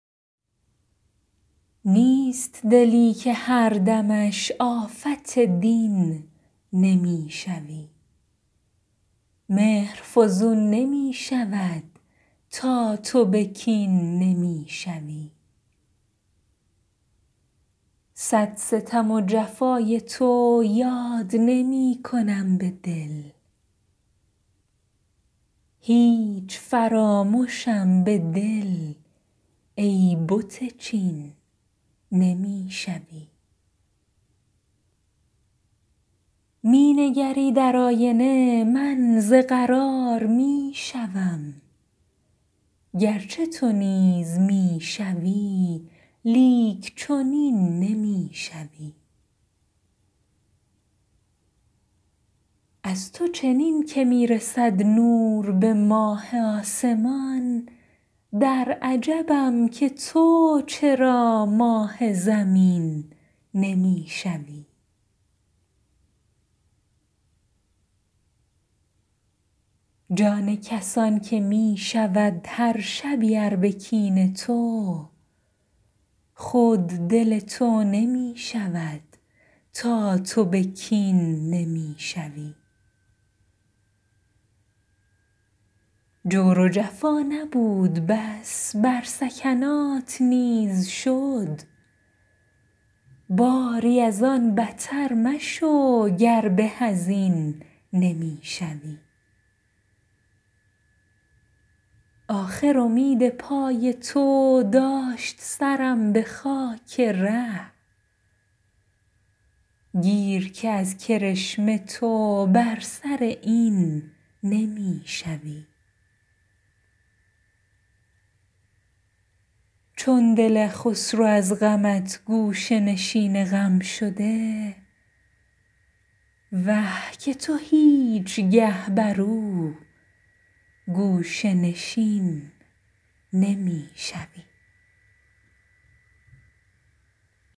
نیست دلی که هر دمش آفت دین نمی شوی مهر فزون نمی شود تا تو به کین نمی شوی صد ستم و جفای تو یاد نمی کنم به دل هیچ فرامشم به دل ای بت چین نمی شوی می نگری در آینه من ز قرار می شوم گر چه تو نیز می شوی لیک چنین نمی شوی از تو چنین که می رسد نور به ماه آسمان در عجبم که تو چرا ماه زمین نمی شوی جان کسان که می شود هر شبی ار به کین تو خود دل تو نمی شود تا تو به کین نمی شوی جور و جفا نبود بس بر سکنات نیز شد باری از آن بتر مشو گر به از این نمی شوی آخر امید پای تو داشت سرم به خاک ره گیر که از کرشمه تو بر سر این نمی شوی چون دل خسرو از غمت گوشه نشین غم شده وه که تو هیچگه بر او گوشه نشین نمی شوی